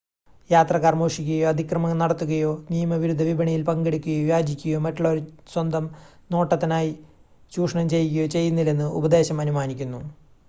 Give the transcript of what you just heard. യാത്രക്കാർ മോഷ്ടിക്കുകയോ അതിക്രമം നടത്തുകയോ നിയമവിരുദ്ധ വിപണിയിൽ പങ്കെടുക്കുകയോ യാചിക്കുകയോ മറ്റുള്ളവരെ സ്വന്തം നേട്ടത്തിനായി ചൂഷണം ചെയ്യുകയോ ചെയ്യുന്നില്ലെന്ന് ഉപദേശം അനുമാനിക്കുന്നു